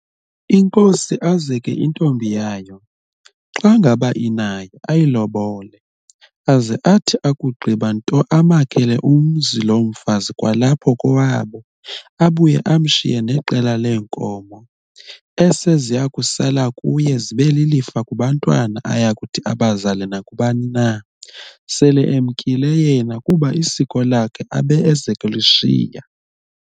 inkosi azeke intombi yayo, xa ngaba inayo, ayilobole, aze athi ukugqiba nto amakhele umzi loo mfazi kwalapho kowabo, abuye amshiye neqela lee nkomo ese ziyakusala kuye zibe lilifa kubantwana ayakuthi abazale nakubani na, sel'emkile yena, kuba isiko lakhe ube ezek'eshiya.